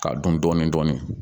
K'a dun dɔɔnin dɔɔnin